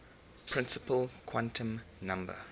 principal quantum number